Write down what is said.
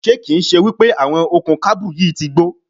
Ṣé kì ń ṣe wípé àwọn okùn kábù yìí ti gbó?